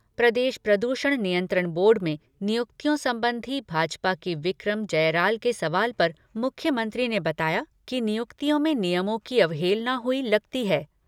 प्रदेश प्रदूषण नियंत्रण बोर्ड में नियुक्तियों संबंधी भाजपा के विक्रम जरयाल के सवाल पर मुख्यमंत्री ने बताया कि नियुक्तियों में नियमों की अवहेलना हुई लगती है।